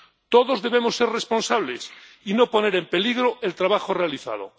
Todos debemos ser responsables y no poner en peligro el trabajo realizado.